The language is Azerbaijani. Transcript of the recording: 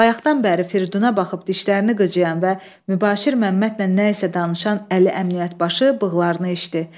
Bayaqdan bəri Firiduna baxıb dişlərini qıcıyan və Mübaşir Məmmədlə nəyisə danışan Əli Əmniyyət başı bığlarını eşdi.